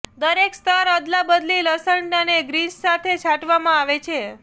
દરેક સ્તર અદલાબદલી લસણ અને ગ્રીન્સ સાથે છાંટવામાં આવે છે